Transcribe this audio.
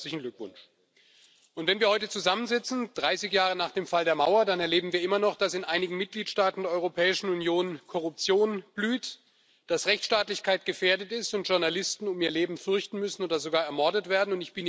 Dazu herzlichen Glückwunsch! Wenn wir heute 30 Jahre nach dem Fall der Mauer zusammensitzen, dann erleben wir immer noch, dass in einigen Mitgliedstaaten der Europäischen Union Korruption blüht, dass Rechtsstaatlichkeit gefährdet ist und Journalisten um ihr Leben fürchten müssen oder sogar ermordet werden.